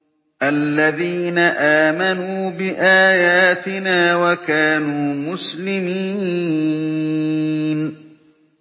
الَّذِينَ آمَنُوا بِآيَاتِنَا وَكَانُوا مُسْلِمِينَ